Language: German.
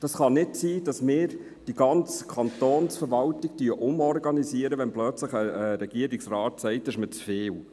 Es kann nicht sein, dass wir die ganze Kantonsverwaltung umorganisieren, wenn plötzlich ein Regierungsrat sagt: «Es ist mir zu viel.